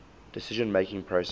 decision making process